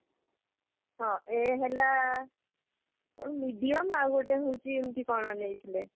ହଁ a ହେଲା କଣ medium ଆଉ ଗୋଟେ ହଉଛି ଏମିତି କଣ ନେଇଥିଲେ